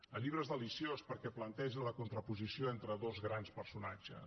el llibre és deliciós perquè planteja la contraposició entre dos grans personatges